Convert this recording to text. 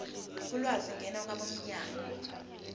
ulwazi ngena kwabomnyango